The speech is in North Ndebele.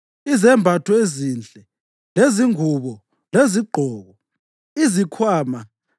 izembatho ezinhle lezingubo lezigqoko, izikhwama